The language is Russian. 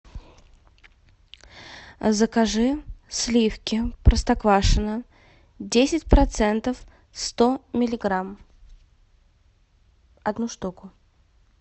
закажи сливки простоквашино десять процентов сто миллиграмм одну штуку